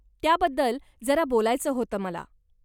त्याबद्दल जरा बोलायचं होतं मला.